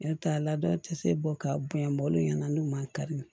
Ne t'a la dɔw tɛ se bɔ ka bunyanbɔ olu ɲɛna n'u man kari